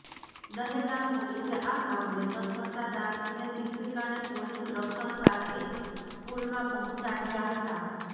દહેગામ પોલીસે આ મામલે તત્પરતા દાખવીને શિક્ષિકાને પોલીસ રક્ષણ સાથે સ્કૂલમાં પહોંચાડ્યા હતા